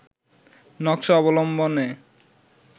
নকশা অবলম্বনে